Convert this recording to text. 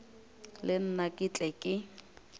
le nna ke tle ke